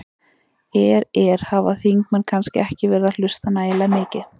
Er, er, hafa þingmenn kannski ekki verið að hlusta nægilega mikið?